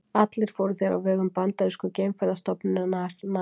Allir fóru þeir á vegum bandarísku geimferðastofnunarinnar NASA.